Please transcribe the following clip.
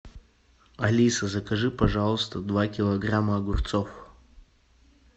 алиса закажи пожалуйста два килограмма огурцов